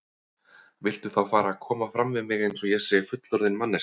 Viltu þá fara að koma fram við mig eins og ég sé fullorðin manneskja!